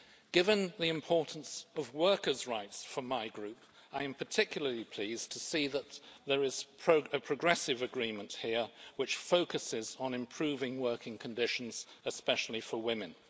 Given the importance of workers' rights for my group, I am particularly pleased to see that there is a progressive agreement here which focuses on improving working conditions, especially for women.